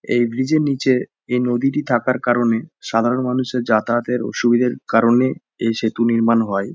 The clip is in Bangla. এই ব্রিজ -এর নিচে এই নদীটি থাকার কারণে সাধারণ মানুষের যাতায়াতের সুবিধের কারণে এই সেতু নির্মাণ হয়।